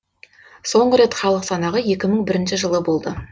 соңғы рет халық санағы екі мың бірінші жылы болды